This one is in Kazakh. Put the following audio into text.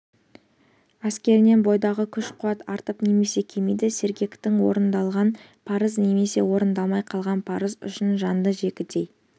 әсерінен бойдағы күш-қуат артып немесе кемиді сергектік орындалған парыз немесе орындалмай қалған парыз үшін жанды жегідей